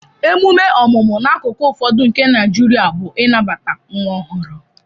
Emume ọmụmụ n'akụkụ ụfọdụ nke Naijiria bụ ịnabata nwa ọhụrụ